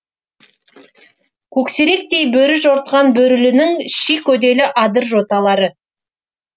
көксеректей бөрі жортқан бөрілінің ши көделі адыр жоталары